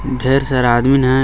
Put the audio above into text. ढेर सारा आदमीन है और--